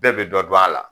Bɛɛ bɛ dɔ dɔn a la